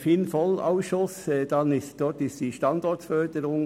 Im Ausschuss FIN/VOL ging es unter anderem um Standortförderung.